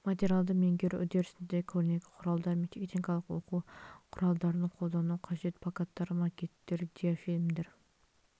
материалды меңгеру үрдісінде көрнекі құралдар мен техникалық оқу құралдарын қолдану қажет плакаттар макеттер диафильмдер